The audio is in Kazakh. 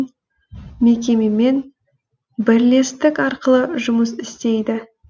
мекемемен бірлестік арқылы жұмыс істейді